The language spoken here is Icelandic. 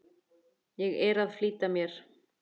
Ég er að flýta mér!